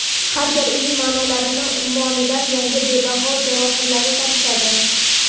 Har gal uning ma’nolar ummonidan yangi va bebaho javohirlar topishadi.